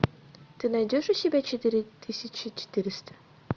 ты найдешь у себя четыре тысячи четыреста